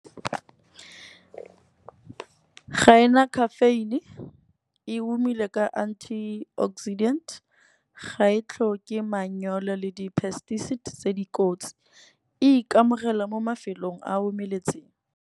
Ga ena caffeine e humile ka anti oxidant ga e tlhoke manyolo le di pesticides tse dikotsi. E ikamogela mo mafelong a omeletseng.